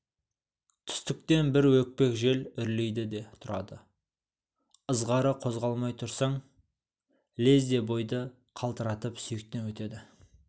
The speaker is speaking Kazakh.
түстіктен бір өкпек жел үрлейді де тұрады ьізғары қозғалмай тұрсаң лезде бойды қалтыратып сүйектен өтеді